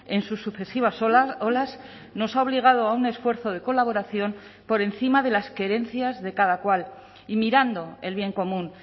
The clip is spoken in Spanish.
en sus sucesivas olas nos ha obligado a un esfuerzo de colaboración por encima de las querencias de cada cual y mirando el bien común